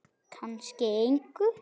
Kannski engu.